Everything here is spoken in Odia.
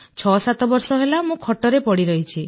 ୬୭ ବର୍ଷ ହେଲା ମୁଁ ଖଟରେ ପଡ଼ିରହିଛି